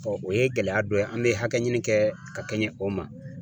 o ye gɛlɛya dɔ ye an be hakɛ ɲini kɛ ka kɛɲɛ o ma.